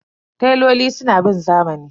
Teloli suna bin zamani.